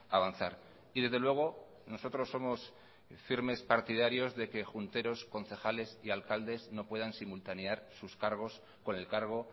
avanzar y desde luego nosotros somos firmes partidarios de que junteros concejales y alcaldes no puedan simultanear sus cargos con el cargo